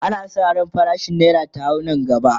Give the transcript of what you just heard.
ana San ran farashin naira ta hau Nan gaba